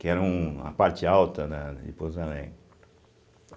que era um a parte alta, né, de Pouso Alegre.